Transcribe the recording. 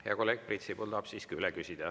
Hea kolleeg Priit Sibul tahab siiski üle küsida.